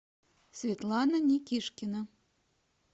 светлана никишкина